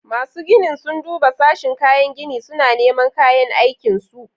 Masu ginin sun duba sashin kayan gini, suna neman kayan aikin su.